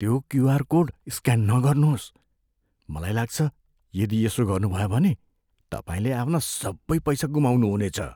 त्यो QR code scan नगर्नुहोस्। मलाई लाग्छ, यदि यसो गर्नुभयो भने, तपाईँले आफ्ना सबै पैसा गुमाउनुहुनेछ।